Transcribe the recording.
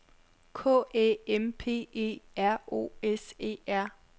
K Æ M P E R O S E R